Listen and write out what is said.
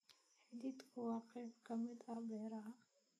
Hadhuudhku waa qayb ka mid ah beeraha.